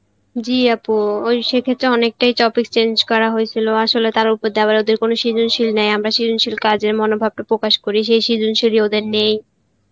জি আপু ওই সেই ক্ষেত্রে অনেকটাই topic change করা হয়েছিল আসলে তারা কোনো সেজনশীল নেই আমরা সেজনশীল কাজের মনভাটা প্রকাশ করি সেই সেজন্শিলি ওদের নেই